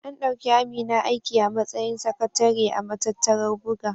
An ɗauki Amina aiki a matsayin sakatare a matattarar buga.